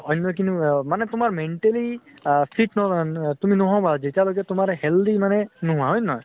অন্য় খিনিও মানে তোমাৰ mentally আ fit আ ন তুমি ন্হʼৱা । যেতিয়ালৈকে তোমাৰ healthy মানে নোহোৱা । হয় ন হয় ?